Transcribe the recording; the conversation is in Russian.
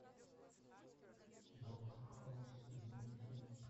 доктор хаус сезон три